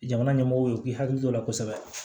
Jamana ɲɛmɔgɔw ye u k'u hakili to o la kosɛbɛ